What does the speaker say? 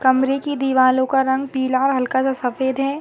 कमरे कि दीवारों का रंग पिला और हल्का सा सफेद है।